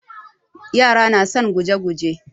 Yara na son guje-guje.